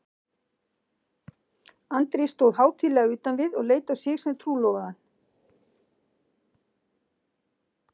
Andri stóð hátíðlega utan við og leit á sig sem trúlofaðan.